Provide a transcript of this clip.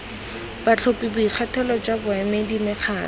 batlhophi boikgethelo jwa baemedi mekgatlho